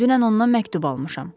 Dünən ondan məktub almışam.